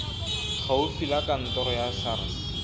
gaufi la kantoro ya sars